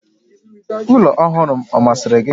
Ụlọ ọhụrụ m ọ masịrị gị?